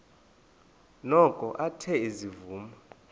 noko athe ezivuma